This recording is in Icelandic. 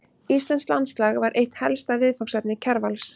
Íslenskt landslag var eitt helsta viðfangsefni Kjarvals.